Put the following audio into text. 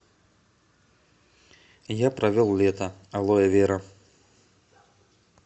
я провел лето алоэвера